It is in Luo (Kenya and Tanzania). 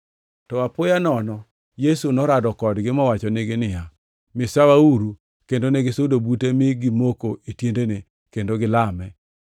To apoya nono Yesu norado kodgi, mowachonegi niya, “Misawauru.” Kendo negisudo bute mi gimoko e tiendene, kendo gilame.